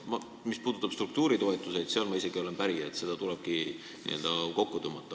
Mis puudutab struktuuritoetusi, siis ma olen isegi päri, et neid tulebki n-ö kokku tõmmata.